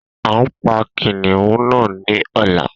A pa kìnìún na ni ọla